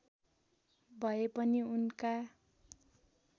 भए पनि उनका